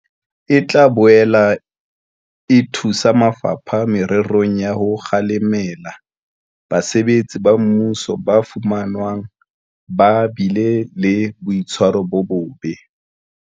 E tla boela e thusa mafapha mererong ya ho kgalema basebetsi ba mmuso ba fumanwang ba bile le boitshwaro bo bobe.